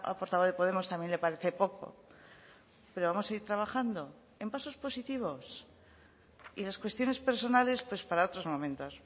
portavoz de podemos también le parece poco pero vamos a ir trabajando en pasos positivos y las cuestiones personales pues para otros momentos